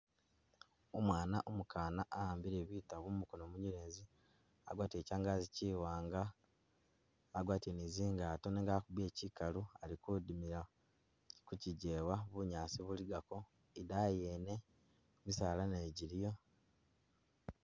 Umwaana umu kana a'ambile bitabo mumukono munyelezi, agwatile kyangagi kyiwanga, agwatile ni zingato nenga wakubile kyikalu ali kudimila kukyijewa bunyaasi buligako idayi yene misala nayo jiliyo.